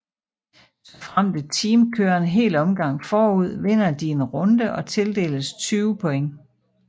Såfremt et team kører en hel omgang forud vinder de en runde og tildeles 20 points